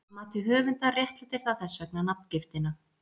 Að mati höfundar réttlætir það þess vegna nafngiftina.